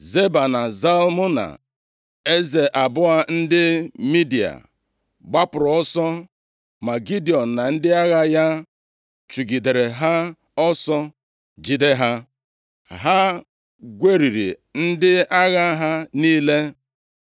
Zeba na Zalmuna, eze abụọ ndị Midia, gbapụrụ ọsọ, ma Gidiọn na ndị agha ya chụgidere ha ọsọ, jide ha. Ha gweriri ndị agha ha niile.